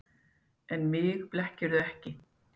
En mig blekkirðu ekki.